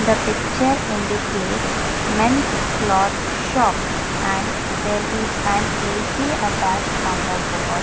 the picture indicates mens cloth shop and there is an ac attached on the wall.